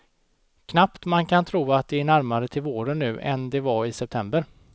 Knappt man kan tro att det är närmare till våren nu, än det var i september.